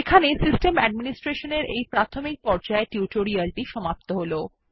এখানেই basics of system administration সংক্রান্ত এই টিউটোরিয়াল টি সমাপ্ত হলো